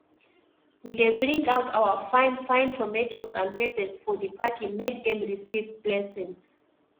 we dey bring out our fine fine tomatoes and peppers for di party make dem receive blessings